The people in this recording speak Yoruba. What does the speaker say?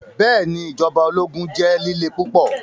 Bẹẹni, ijọba ologun jẹ lile pupọ